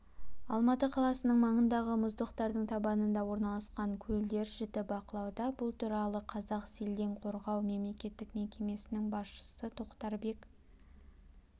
алматы қаласының маңындағы мұздықтардың табанында орналасқан көлдер жіті бақылауда бұл туралы қазақселденқорғау мемлекеттік мекемесінің басшысы тоқтарбек